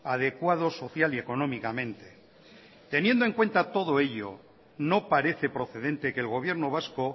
adecuado social y económicamente teniendo en cuenta todo ello no parece procedente que el gobierno vasco